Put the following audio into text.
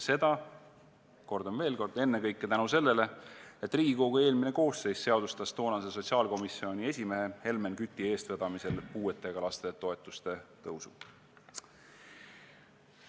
Seda, kordan veel kord, ennekõike tänu sellele, et Riigikogu eelmine koosseis seadustas toonase sotsiaalkomisjoni esimehe Helmen Küti eestvedamisel puudega laste toetuste tõusu.